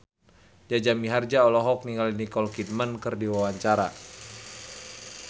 Jaja Mihardja olohok ningali Nicole Kidman keur diwawancara